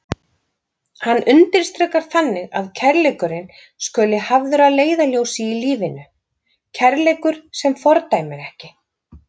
Hann undirstrikar þannig að kærleikurinn skuli hafður að leiðarljósi í lífinu, kærleikur sem fordæmir ekki.